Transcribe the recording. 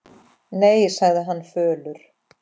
Nei, sagði hann fölur.